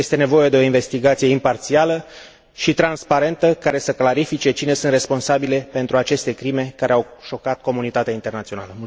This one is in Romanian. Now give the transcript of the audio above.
Este nevoie de o investigație imparțială și transparentă, care să clarifice cine sunt responsabilii pentru aceste crime care au șocat comunitatea internațională.